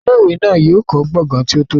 Ilé ìwé náà yóò kọ́ gbọ̀ngán tí ó tóbi si